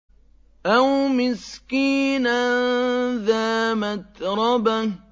أَوْ مِسْكِينًا ذَا مَتْرَبَةٍ